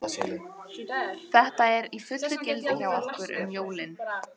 Þetta er í fullu gildi hjá okkur um jólin.